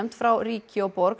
frá ríki og borg